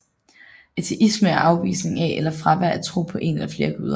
Ateisme er afvisning af eller fravær af tro på en eller flere guder